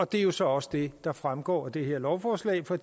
det er jo så også det der fremgår af det her lovforslag for